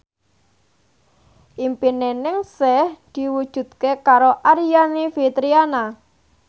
impine Ningsih diwujudke karo Aryani Fitriana